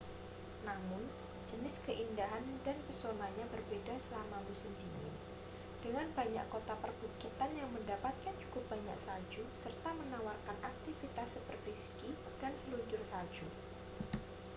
namun jenis keindahan dan pesonanya berbeda selama musim dingin dengan banyak kota perbukitan yang mendapatkan cukup banyak salju serta menawarkan aktivitas seperti ski dan seluncur salju